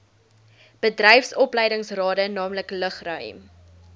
bedryfsopleidingsrade naamlik lugruim